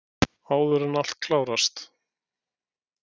Áður en allt klárast!